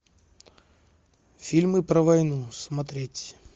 фильмы про войну смотреть